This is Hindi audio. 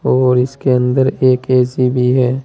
और इसके अंदर एक ऐ_सी भी है।